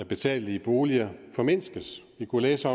betalelige boliger formindskes vi kunne læse